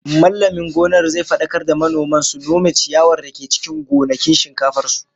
Mallamin gonar zai fadakar da manoman su nome ciyawar da ke cikin gonakin shinkafar su